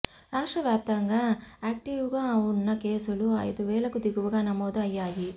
రాష్ట్రవ్యాప్తంగా యాక్టివ్గా ఉన్న కేసులు అయిదు వేలకు దిగువగా నమోదు అయ్యాయి